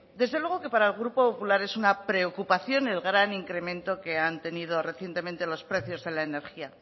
desde luego que para el grupo popular es una preocupación el gran incremento que han tenido recientemente los precios de la energía